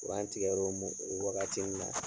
U anan tigɛrɔ o o waagati min na.